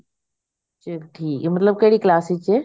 ਫੇਰ ਠੀਕ ਐ ਮਤਲਬ ਕਿਹੜੀ class ਵਿੱਚ ਐ